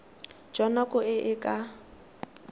jwa nako e e ka